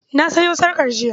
I bought the necless yestarday.